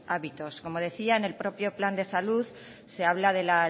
ámbitos como decía en el propio plan de salud se habla del